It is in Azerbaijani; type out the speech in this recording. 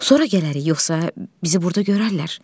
Sonra gələrik yoxsa bizi burda görərlər.